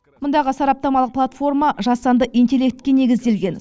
мұндағы сараптамалық платформа жасанды интеллектке негізделген